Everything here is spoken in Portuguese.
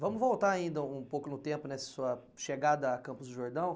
Vamos voltar ainda um pouco no tempo, nessa sua chegada a Campos do Jordão.